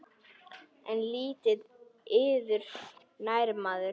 En lítið yður nær maður.